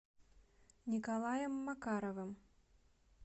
николаем макаровым